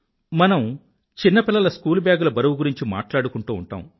మనం చిన్నపిల్లల స్కూలుబ్యాగ్ ల బరువు గురించి మాట్లాడుకుంటూ ఉంటాం